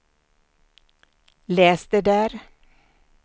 läs det där